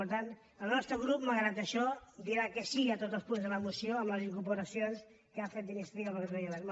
per tant el nostre grup malgrat això dirà que sí a tots els punts de la moció amb les incorporacions que hi ha fet d’iniciativa per catalunya verds